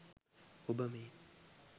ඔබ මේ